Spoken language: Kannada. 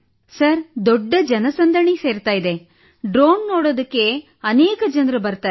ಸರ್ ದೊಡ್ಡ ಜನಸಂದಣಿ ಸೇರುತ್ತಿದೆ ಡ್ರೋನ್ ನೋಡಲು ಅನೇಕ ಜನರು ಬರುತ್ತಾರೆ